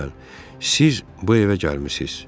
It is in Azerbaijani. Məsələn, siz bu evə gəlmisiniz.